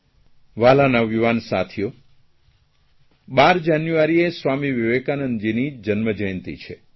વ્હાલા નવયુવાન સાથીઓ 12 જાન્યુઆરીએ સ્વામી વિવેકાનંદજીની જન્મજયંતિ છે